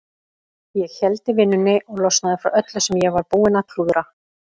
Ég héldi vinnunni og losnaði frá öllu sem ég var búinn að klúðra.